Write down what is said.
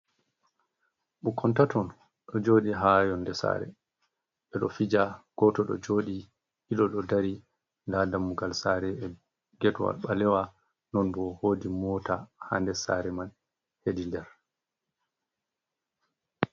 Ɓukkon taton ɗo joɗi ha yonde sare ɓe ɗo fija, goto ɗo joɗi ɗiɗo ɗo dari, nda dammugal sare e getwal ɓalewa non bo wodi mota ha der sare man hedi der.